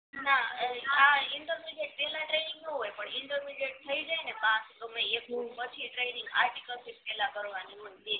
હ ઇન્ટરમિડીએટ પેલા ટ્રેનિંગ ના હોય પણ ઇન્ટરમિડીએટ થઈ જાય ને પાસ ગમે ઇ એકલું પછી ટ્રેનિંગ આર્ટિકલશીપ કરવાની હોય